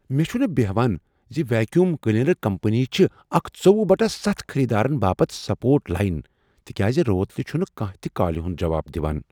مےٚ چھنہٕ بہان زِ ویکیوم کلینر کمپنی چھ اکھ ژۄۄہُ بٹہ ستھَ خریدارن باپتھ سپورٹ لاین تکیاز روتلہ چھنہٕ کانٛہہ تہ کالہِ ہٖند جواب دوان